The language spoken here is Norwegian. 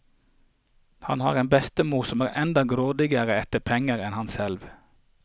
Han har en bestemor som er enda grådigere etter penger enn han selv.